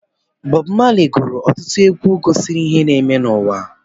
Bob Marley gụrụ ọtụtụ egwu gosiri ihe na-eme n'ụwa.